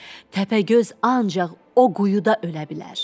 Təpəgöz ancaq o quyuda ölə bilər.